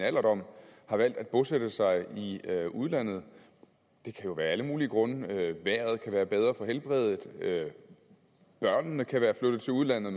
alderdom har valgt at bosætte sig i udlandet det kan jo være af alle mulige grunde vejret kan være bedre for helbredet og børnene kan være flyttet til udlandet